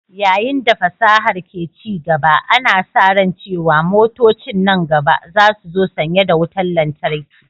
Yayin da fasahar ke ci gaba, ana sa ran cewa motocin nan gaba za su zo sanye da wutar lantarki.